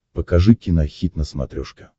покажи кинохит на смотрешке